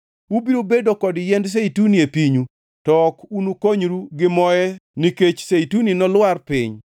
Ubiro bedo kod yien zeituni e pinyu to ok unukonyru gi moe nikech zeituni nolwar piny.